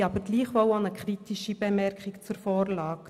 Wir haben aber gleichwohl auch eine kritische Bemerkung zu der Vorlage.